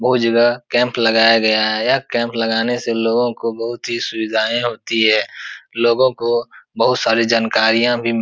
बहोत जगह कैंप लगया गया है। यह कैंप लगाने से लोगों को बहोत ही सुविधाएं होती हैं। लोगो को बहोत सारी जानकारियां भी --